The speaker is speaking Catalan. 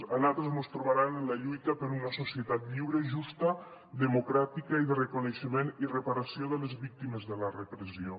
a nosaltres mos trobaran en la lluita per una societat lliure justa democràtica i de reconeixement i reparació de les víctimes de la repressió